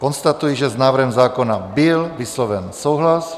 Konstatuji, že s návrhem zákona byl vysloven souhlas.